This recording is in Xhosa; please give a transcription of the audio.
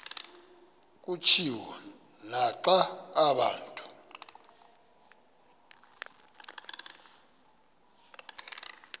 kutshiwo naxa abantu